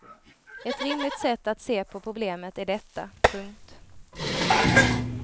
Ett rimligt sätt att se på problemet är detta. punkt